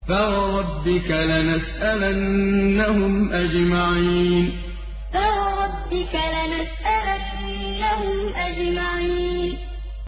فَوَرَبِّكَ لَنَسْأَلَنَّهُمْ أَجْمَعِينَ فَوَرَبِّكَ لَنَسْأَلَنَّهُمْ أَجْمَعِينَ